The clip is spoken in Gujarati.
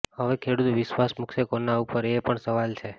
હવે ખેડૂત વિશ્વાસ મૂકસે કોના ઉપર એ પણ સવાલ છે